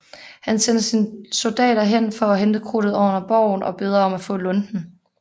Han sender sine soldater hen for at hente krudtet under borgen og beder om at få lunten